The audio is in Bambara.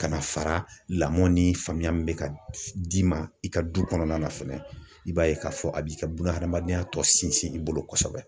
Ka na fara lamɔ ni faamuya min be ka d'i ma i ka du kɔnɔna na fɛnɛ i b'a ye k'a fɔ a b'i ka bunahadamadenya tɔ sinsin i bolo kosɛbɛ